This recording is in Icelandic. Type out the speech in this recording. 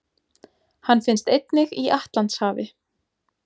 Hann finnst einnig í Atlantshafi.